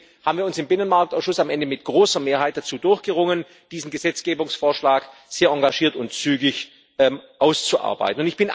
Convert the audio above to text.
Deswegen haben wir uns im Binnenmarktausschuss am Ende mit großer Mehrheit dazu durchgerungen, diesen Gesetzgebungsvorschlag sehr engagiert und zügig auszuarbeiten.